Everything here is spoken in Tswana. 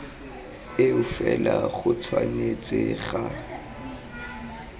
eo fela go tshwanetse ga